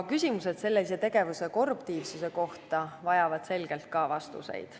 Küsimused sellise tegevuse korruptiivsuse kohta vajavad selgelt vastuseid.